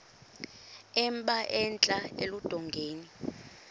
emba entla eludongeni